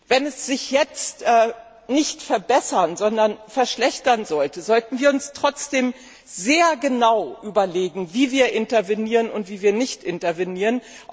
Wenn sich die Lage jetzt nicht verbessern, sondern verschlechtern sollte, sollten wir uns trotzdem sehr genau überlegen, wie wir intervenieren und wie wir nicht intervenieren.